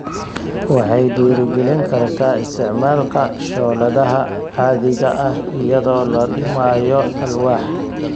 Waxay dhiirigelin kartaa isticmaalka shooladaha caadiga ah iyadoo la dhimayo alwaax.